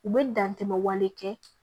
U bɛ dantɛmɛ wale kɛ